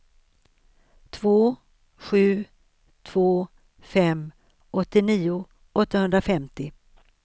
två sju två fem åttionio åttahundrafemtio